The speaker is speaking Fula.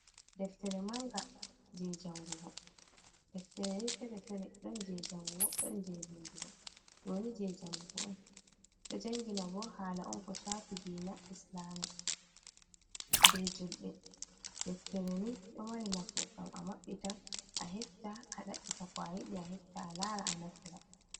Deftere manga jei jangugo. Deftere ni fere-fere. Ɗon jei jangugo, ɗon jei vindugo. Ɗo ni jei jangugo on, ɗo jangina bo haala on ko shaafi diina Islama, be julɓe. Deftere ni ɗo mari nafu, ngam a maɓɓita, a hefta, a ɗaɓɓita ko a yiɗi, a hefta, a lara, a naftira.